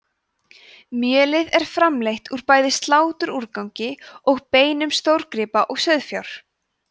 mjölið er framleitt úr bæði sláturúrgangi og beinum stórgripa og sauðfjár